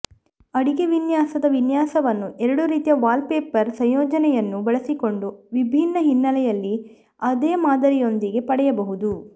ಅಡಿಗೆ ವಿನ್ಯಾಸದ ವಿನ್ಯಾಸವನ್ನು ಎರಡು ರೀತಿಯ ವಾಲ್ಪೇಪರ್ನ ಸಂಯೋಜನೆಯನ್ನು ಬಳಸಿಕೊಂಡು ವಿಭಿನ್ನ ಹಿನ್ನೆಲೆಯಲ್ಲಿ ಅದೇ ಮಾದರಿಯೊಂದಿಗೆ ಪಡೆಯಬಹುದು